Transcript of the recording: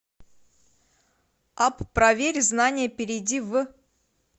апп проверь знания перейди в